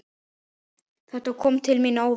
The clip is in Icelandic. Þetta kom til mín óvænt.